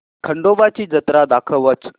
खंडोबा ची जत्रा दाखवच